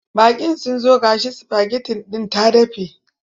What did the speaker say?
Baƙin sun zo ga shi sifageti din ta dafe.